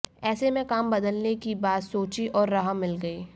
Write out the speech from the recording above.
ऐसे में काम बदलने की बात सोची और राह मिल गई